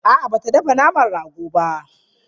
A'a ba ta dafa naman ragon ba.